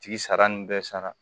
Tigi sara nin bɛɛ sara